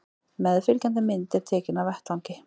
Meðfylgjandi mynd er tekin af vettvangi